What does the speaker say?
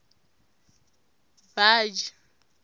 baji